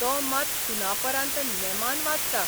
तो मात सुनापरान्त नेमान बाचता.